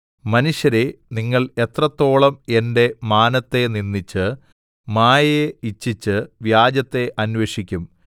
മനുഷ്യരേ നിങ്ങൾ എത്രത്തോളം എന്റെ മാനത്തെ നിന്ദിച്ച് മായയെ ഇച്ഛിച്ച് വ്യാജത്തെ അന്വേഷിക്കും സേലാ